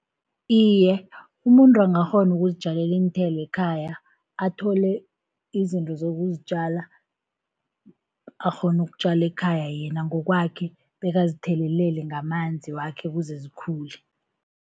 Iye umuntu angakghona ukuzitjalela iinthelo ekhaya. Athole izinto zokuzitjala akghone ukutjala ekhaya yena ngokwakhe, bekazithelelele ngamanzi wakhe ukuze zikhule.